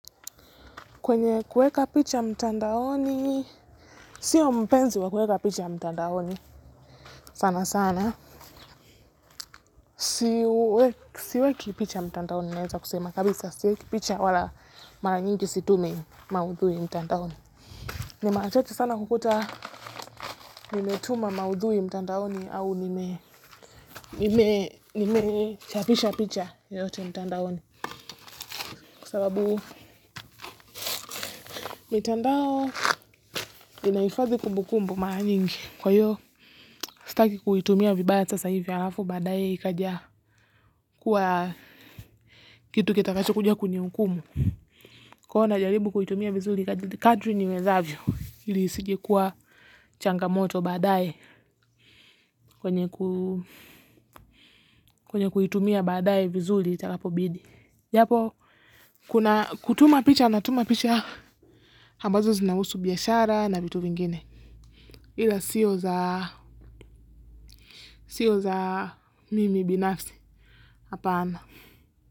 Kwenye kuweka picha mtandaoni sio mpenzi wa kuweka picha mtandaoni sana sana siweki picha mtandaoni naweza kusema, kabisa siweki picha wala mara nyingi situmi maudhui mtandaoni. Ni mara chache sana hukuta nimetuma maudhui mtandaoni au nimechapisha picha yote mtandaoni. Kwasababu mitandao inaifadhi kumbukumbu mara nyingi. Kwa hiyo sitaki kuitumia vibaya sasa hivi alafu baadaye ikaja kuwa kitu kitakacho kuja kuni hukumu. Kwa hivyo na jaribu kuitumia vizuri kadri niwezavyo ili isije kuwa changa moto baadaye kwenye kuitumia baadaye vizuri itakapobidi. Japo, kutuma picha na tuma picha ambazo zinahusu biashara na vitu vingine. Ila sio za mimi binafsi. Hapana.